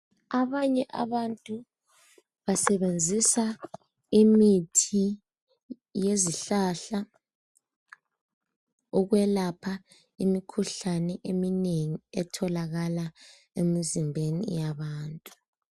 Abanye abantu basebenzisa imithi yezihlahla ukwelapha imikhuhlane eminengi etholakala emizimbeni yabantu.